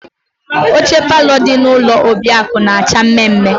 Oche palọ dị na ụlọ Obiakụ na-acha mme mme.